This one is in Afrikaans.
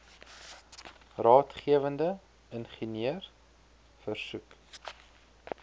raadgewende ingenieur versoek